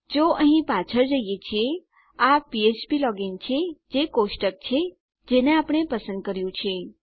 જો અહીં પાછળ જઈએ છીએ આ ફ્ફ્પ લોગિન છે જે કોષ્ટક છે જેને આપણે પસંદ કર્યું છે